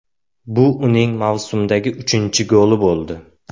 Bu uning mavsumdagi uchinchi goli bo‘ldi.